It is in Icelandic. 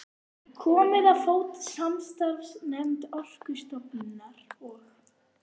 Komið á fót samstarfsnefnd Orkustofnunar og